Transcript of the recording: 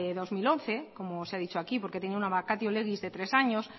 del dos mil once como se ha dicho aquí porque tenía una vacatio legis de tres años